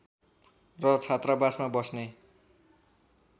र छात्रावासमा बस्ने